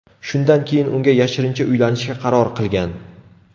Shundan keyin unga yashirincha uylanishga qaror qilgan.